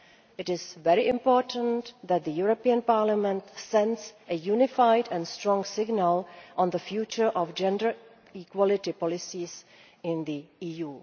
men. It is very important that the European Parliament sends a unified and strong signal on the future of gender equality policies in the EU.